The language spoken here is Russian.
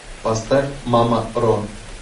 поставь мама ро